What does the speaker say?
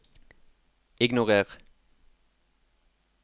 ignorer